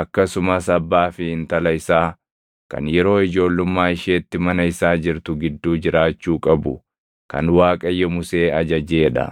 akkasumas abbaa fi intala isaa kan yeroo ijoollummaa isheetti mana isaa jirtu gidduu jiraachuu qabu kan Waaqayyo Musee ajajee dha.